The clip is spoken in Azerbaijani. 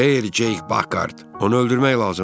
Xeyr, Ceyk Pakhard, onu öldürmək lazımdır.